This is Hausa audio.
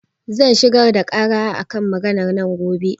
Zan shigar da ƙara a kan maganar nan gobe.